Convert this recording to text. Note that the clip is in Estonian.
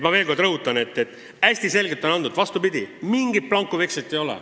Ma veel kord rõhutan, et kriteeriumid on hästi selgelt antud, mingit blankovekslit ei ole.